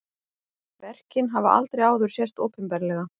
Verkin hafa aldrei áður sést opinberlega